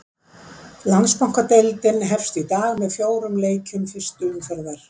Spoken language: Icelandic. Landsbankadeildin hefst í dag með fjórum leikjum fyrstu umferðar.